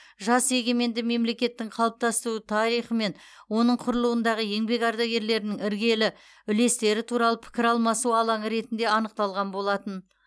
жас егеменді мемлекеттің қалыптасу тарихы мен оның құрылуындағы еңбек ардагерлерінің іргелі үлестері туралы пікір алмасу алаңы ретінде анықталған болатын